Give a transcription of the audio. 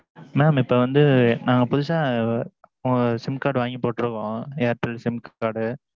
mam, இப்போ வந்து நாங்க புதுசா. sim card வாங்கி போட்டிருக்கோம் airtel sim card.